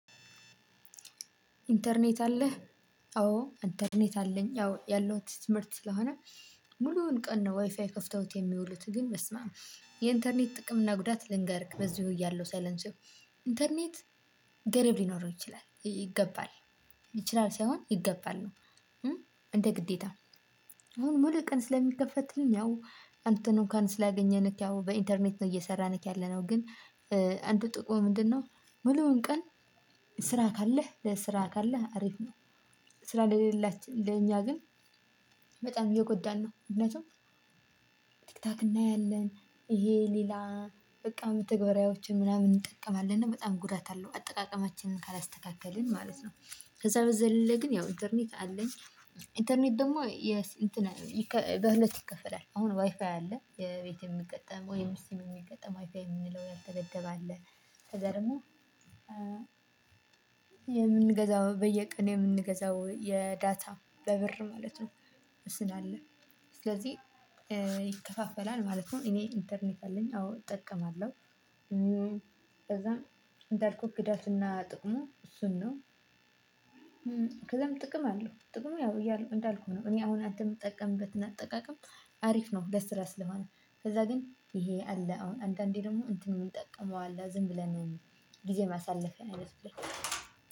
ኢንተርኔት አለህ አዎ ኢንተርኔት አለኝ ያው ያለሁት ትምህርት ስለሆነ ሙሉውን ቀን ነው። ዋይፋይ ከፍተውት የሚውሉት ግን በስመአም የኢንተርኔት ጥቅም እና ጉዳት ልንገርክ። በዚሁ እያለሁ ሳረሳው። ኢንተርኔት ገደብ ሊኖረው ይችላል ይገባል ይችላል ሳይሆን ይገባል ነው። እንደ ግዴታ። አሁን ሙሉ ቀን ስለሚከፈትልን ያው አንተን እንኳን ስላገኘንክ ያው በኢንተርኔት ነው እየሰራንክ ያለነው ግን። አንድ ጥቅሙ ምንድነው? ሙሉውን ቀን ስራ ካለህ ለስራ ካለህ አሪፍ ነው። ስራ ለሌላችሁ ለእኛ ግን በጣም እየጎዳን ነው። ምክንያቱም። ቲክቶክ እናያለን። ይሄ ሌላ በቃ መተግበራዎችን ምናምን እንጠቀማለን እና በጣም ጉዳት አለው አጠቃቀማችንን ካላስተካከልን ማለት ነው። ከዛ በዘለለ ግን ያው ኢንተርኔት አንደኛ ኢንተርኔት ደግሞ በሁለት ይከፈላል። አሁን ዋይፋይ አለ የቤት የሚገጠም ወይም ሲም የሚገጠም ዋይፋይ የሚለው ያልተደበደበ አለ። ከዛ ደግሞ የምንገዛው በየቀን የምንገዛው የዳታ በብር ማለት ነው። ስላለ ስለዚህ ይከፋፈላል ማለት ነው። እኔ ኢንተርኔት አለኝ አዎ እጠቀማለሁ። ከዛም እንዳልኩህ ጉዳቱና ጥቅሙ እሱን ነው። ከዛም ጥቅም አለው ጥቅሙ ያው እያሉ እንዳልኩህ ነው። እኔ አሁን አንተ የምጠቀምበትን አጠቃቀም አሪፍ ነው ለስራ ስለሆነ። ከዛ ግን ይሄ አለ አሁን አንዳንዴ ደግሞ እንትን የምንጠቀመው አለ ዝም ብለን ጊዜ ማሳለፍ ነው ያለበት።